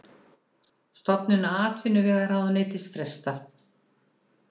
Stofnun atvinnuvegaráðuneytis frestað